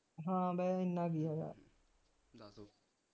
ਹਾਂ ਵੈਹੇ ਇੰਨਾ ਕਿ ਹੈਗਾ